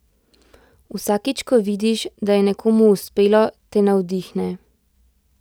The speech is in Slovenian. Vsakič ko vidiš, da je nekomu uspelo, te navdihne.